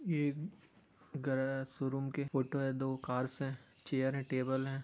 ये garage showroom की photo है| दो कार्स हैं चेयर हैं टेबल हैं।